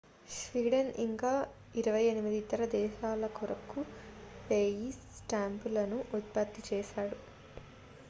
Sweden ఇంకా 28 ఇతర దేశాల కొరకు 1,000 స్టాంపులను ఉత్పత్తి చేశాడు